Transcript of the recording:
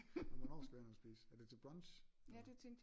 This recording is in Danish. Men hvornår skal vi have noget at spise er det til brunch eller?